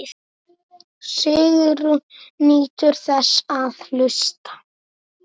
Sigrún nýtur þess að hlusta.